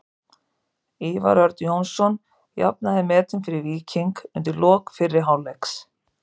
Ívar Örn Jónsson jafnaði metin fyrir Víking undir lok fyrri hálfleiks.